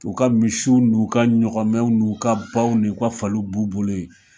U ka misiw n' u ka ɲɔgɔnmɛw n' u ka baw ni u ka faliw b'u bolo yen.